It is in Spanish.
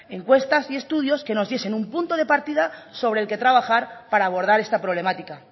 encuestas y estudios que nos diesen un punto de partida sobre el que trabajar para abordar esta problemática